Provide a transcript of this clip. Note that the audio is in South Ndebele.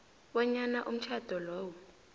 bonyana umtjhado lowo